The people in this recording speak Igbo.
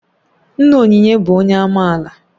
Nna Onyinye bụ onye amaala